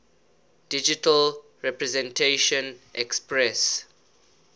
digital representation expresses